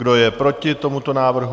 Kdo je proti tomuto návrhu?